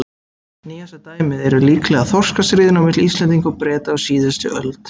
Nýjasta dæmið eru líklega þorskastríðin á milli Íslendinga og Breta á síðust öld.